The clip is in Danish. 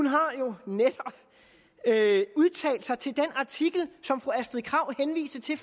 har jo netop udtalt sig til den artikel som fru astrid krag henviste til